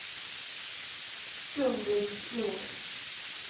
Gun-Britt Nord